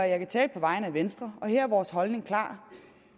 jeg kan tale på vegne af venstre og her er vores holdning klar